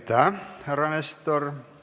Aitäh, härra Nestor!